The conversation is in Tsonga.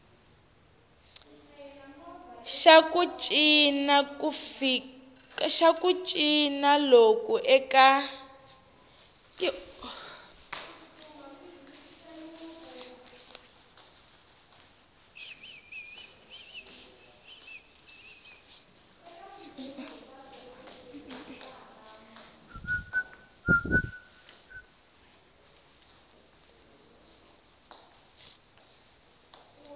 xa ku cinca loku eka